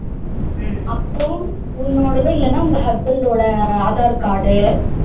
அப்புறம் உன்னோடது இல்லன்னா உங்க husband ஓட aadhar card